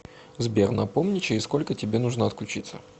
сбер напомни через сколько тебе нужно отключиться